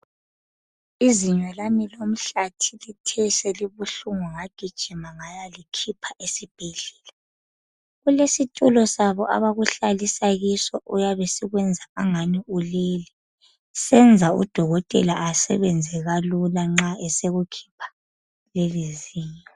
izinyolami lomhlathi lithe selibuhlungu ngagijima ngayalikhipha esibhedlela kulesi tulo sabo abakuhlalisa kiso esiyabe sikuyenza engani ulele senza udokotela asebenze kalula nxa esekukhipha lelo zinyo